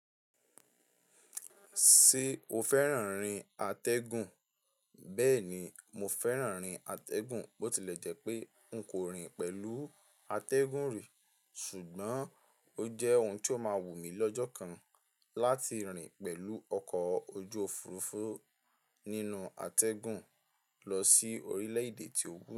Ṣé o fẹ́ràn rín atẹ́gùn? Bẹ́ẹ̀ ni, mo fẹ́ràn rín atẹ́gùn, bó ti lẹ̀ jẹ́ pé n kò rìn pẹ̀lú atẹ́gùn rí, ṣùgbọ́n ó jẹ́ ohun tó máa wù mí lọ́jọ́ kan láti rìn pẹ̀lú ọkọ̀ ojú òfurufú nínú atẹ́gùn lọ sí orílẹ̀-èdè tí ó wù mí.